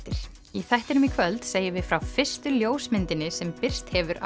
í þættinum í kvöld segjum við frá fyrstu ljósmyndinni sem birst hefur